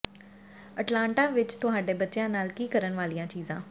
Atlanta ਵਿੱਚ ਤੁਹਾਡੇ ਬੱਚਿਆਂ ਨਾਲ ਕੀ ਕਰਨ ਵਾਲੀਆਂ ਚੀਜ਼ਾਂ